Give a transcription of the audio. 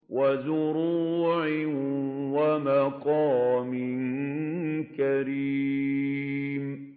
وَزُرُوعٍ وَمَقَامٍ كَرِيمٍ